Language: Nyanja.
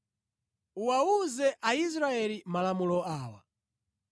“Uwawuze Aisraeli malamulo awa: